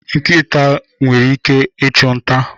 Eji nkita achụ nta